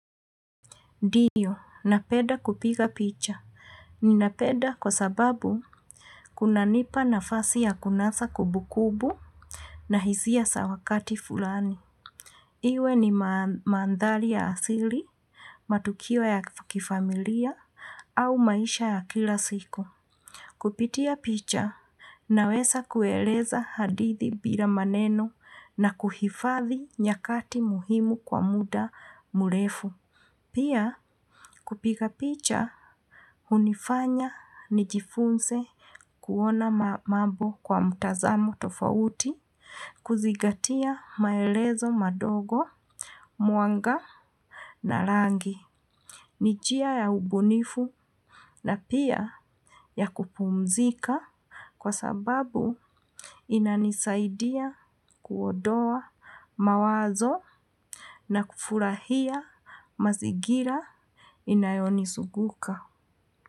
Ndiyo, napenda kupiga picha. Ni napenda kwa sababu kunanipa nafasi ya kunasa kumbukumbu na hisia za wakati fulani. Iwe ni mandhari ya asili, matukio ya kifamilia, au maisha ya kila siku. Kupitia picha, naweza kueleza hadithi bila maneno na kuhifadhi nyakati muhimu kwa muda mrefu. Pia, kupiga picha hunifanya nijifunze kuona mambo kwa mtazamo tofauti, kuzingatia maelezo madogo, mwanga na rangi. Ni njia ya ubunifu na pia ya kupumzika kwa sababu inanisaidia kuondoa mawazo na kufurahia mazingira inayonizunguka.